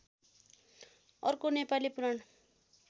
अर्को नेपाली पुराण